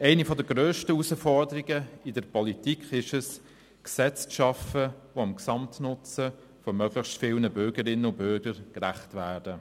Eine der grössten Herausforderungen in der Politik ist es, Gesetze zu schaffen, die dem Gesamtnutzen von möglichst vielen Bürgerinnen und Bürger entsprechen.